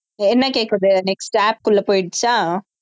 என்ன கேக்குது next app க்குள்ள போயிடுச்சா